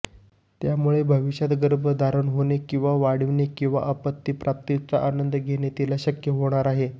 त्यामुळे भविष्यात गर्भाधारणा होणे किंवा वाढविणे किंवा अपत्यप्राप्तीचा आनंद घेणे तिला शक्य होणार आहे